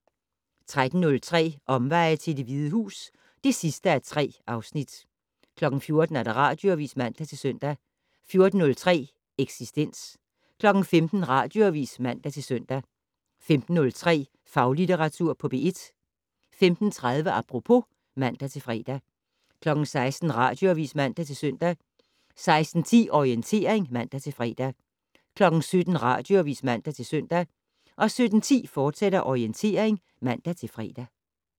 13:03: Omveje til Det Hvide Hus (3:3) 14:00: Radioavis (man-søn) 14:03: Eksistens 15:00: Radioavis (man-søn) 15:03: Faglitteratur på P1 15:30: Apropos (man-fre) 16:00: Radioavis (man-søn) 16:10: Orientering (man-fre) 17:00: Radioavis (man-søn) 17:10: Orientering, fortsat (man-fre)